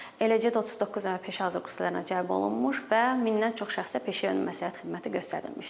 Eləcə də 39 nəfər peşə hazırlığı kurslarına cəlb olunmuş və mindən çox şəxsə peşəyönümü məsləhət xidməti göstərilmişdir.